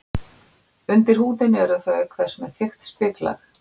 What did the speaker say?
Undir húðinni eru þau auk þess með þykkt spiklag.